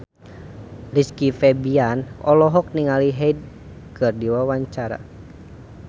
Rizky Febian olohok ningali Hyde keur diwawancara